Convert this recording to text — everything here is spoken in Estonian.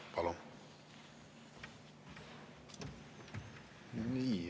Palun!